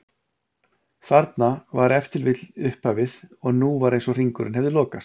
Þarna var ef til vill upphafið og nú var eins og hringurinn hefði lokast.